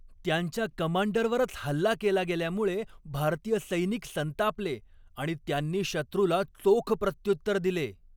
त्यांच्या कमांडरवरच हल्ला केला गेल्यामुळे भारतीय सैनिक संतापले आणि त्यांनी शत्रूला चोख प्रत्युत्तर दिले.